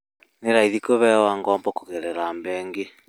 Nĩ raithi kũheo ngombo kũgerera bengi